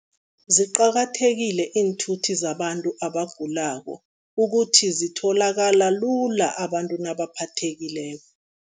Ziqakathekile iinthuthi zabantu abagulako, ukuthi zitholakala lula abantu nabaphathekileko.